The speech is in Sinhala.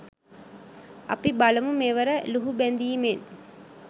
අපි බලමු මෙවර ලුහුබැඳීමෙන්